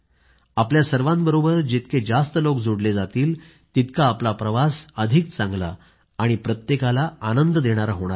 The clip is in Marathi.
आपल्या सर्वाबरोबर जितके जास्त लोक जोडले जातीलतितका आपला प्रवास अधिक चांगला आणि प्रत्येकाला आनंद देणारा होणार आहे